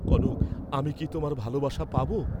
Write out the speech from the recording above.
কনক, আমি কি তোমার ভালবাসা পাব?